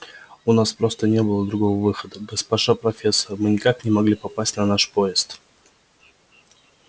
у нас просто не было другого выхода госпожа профессор мы никак не могли попасть на наш поезд